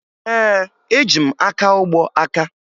Ee, eji m akaụgbọ aka